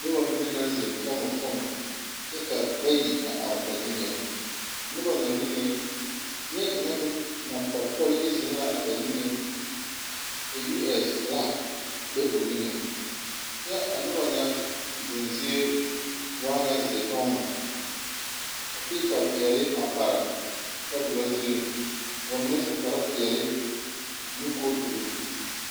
Noba mine naŋ ziŋ fɔŋɔfɔŋɔ kyɛ ka bayi a are ba niŋeŋ, a noba na niŋeŋ neɛkaŋa meŋ niŋ tɔl yi ziŋ la ba niŋeŋ ka US filag a be o niŋeŋ kyɛ a noba nyɛ ziŋ zie waa nyɛ zeɛ tɔgmo ka piipa peɛli a pare tabulɔ zuri ka ba mine su kparre peɛli ane kooturi.